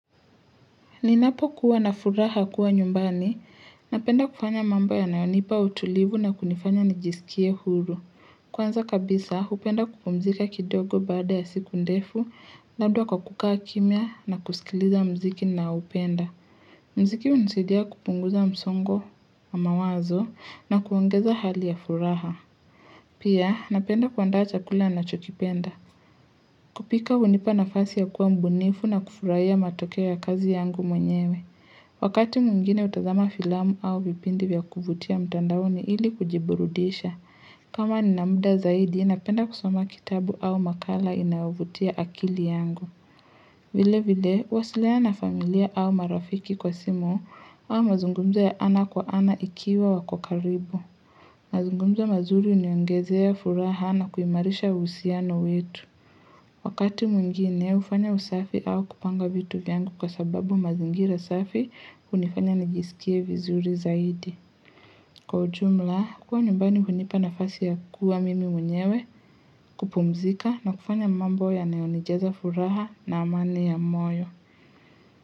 Ninapokuwa na furaha kuwa nyumbani, napenda kufanya mambo yanayonipa utulivu na kunifanya nijisikie huru. Kwanza kabisa, hupenda kupumzika kidogo baada ya siku ndefu, labda kwa kukaa kimya na kusikiliza mziki naupenda. Mziki hunisidia kupunguza msongo wa mawazo na kuongeza hali ya furaha. Pia, napenda kuandaa chakula nachokipenda. Kupika hunipa nafasi ya kuwa mbunifu na kufurahia matokeo ya kazi yangu mwenyewe. Wakati mwingine hutazama filamu au vipindi vya kuvutia mtandaoni ili kujiburudisha. Kama nina muda zaidi, napenda kusoma kitabu au makala inayovutia akili yangu. Vile vile, huwasiliana na familia au marafiki kwa simu au mazungumzo ya ana kwa ana ikiwa wako karibu. Mazungumzo mazuri huniongezea furaha na kuimarisha uhusiano wetu. Wakati mwingine ufanya usafi au kupanga vitu vyangu kwa sababu mazingira safi hunifanya nijisikie vizuri zaidi. Kwa ujumla, kuwa nyumbani hunipa nafasi ya kuwa mimi mwenyewe kupumzika na kufanya mambo yanayonijaza furaha na amani ya moyo.